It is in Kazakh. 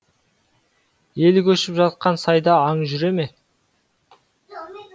ел көшіп жатқан сайда аң жүре ме